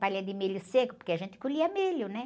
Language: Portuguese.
Palha de milho seco, porque a gente colhia milho, né?